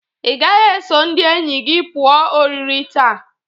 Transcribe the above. Ị gaghị eso ndị enyi gi pụa oriri taa.